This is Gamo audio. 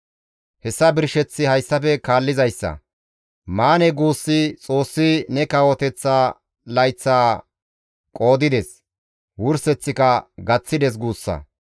Hessa birsheththi hayssafe kaallizayssa; Manee! Guussi, ‹Xoossi ne kawoteththa layththaa qoodides; wurseththika gaththides› guussa.